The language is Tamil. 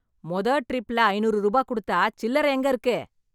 மொத ட்ரிப்லே ஐநூறு ரூபா கொடுத்தா, சில்லற எங்க இருக்கு?